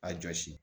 A jɔsi